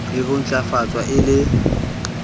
le ho ntlafatswa e le